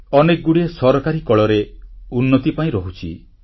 ଅନେକଗୁଡ଼ିଏ ସରକାରୀ କଳରେ ଉନ୍ନତି ପାଇଁ ରହୁଛି